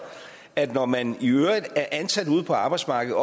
at når man er ansat ude på arbejdsmarkedet